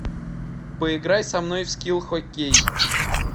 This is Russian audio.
поиграй со мной в скил хоккей